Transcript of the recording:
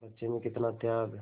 बच्चे में कितना त्याग